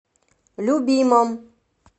любимом